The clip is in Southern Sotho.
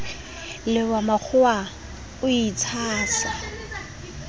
le wa makgowa o itshasa